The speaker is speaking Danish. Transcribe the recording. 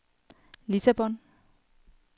Lissabon